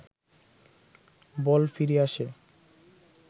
বল ফিরে আসে